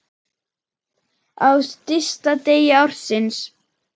Á stysta degi ársins.